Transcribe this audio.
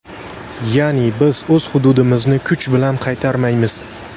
Ya’ni biz o‘z hududimizni kuch bilan qaytarmaymiz.